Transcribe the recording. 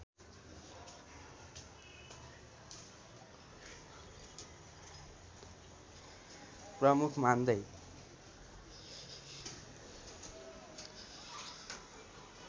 प्रमुख मान्दै